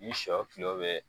Ni sɔ tulo bɛ